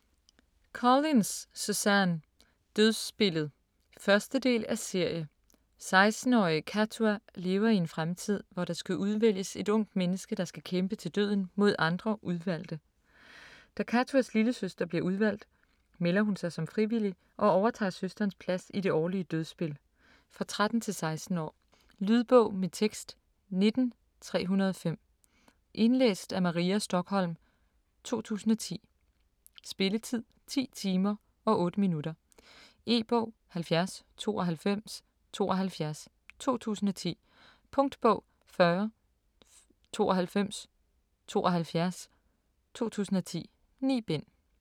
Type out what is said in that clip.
Collins, Suzanne: Dødsspillet 1. del af serie. 16-årige Kattua lever i en fremtid, hvor der skal udvælges et ungt menneske, der skal kæmpe til døden mod andre udvalgte. Da Kattuas lillesøster bliver udvalgt, melder hun sig som frivillig og overtager søsterens plads i det årlige dødsspil. For 13-16 år. Lydbog med tekst 19305 Indlæst af Maria Stokholm, 2010. Spilletid: 10 timer, 8 minutter. E-bog 709272 2010. Punktbog 409272 2010. 9 bind.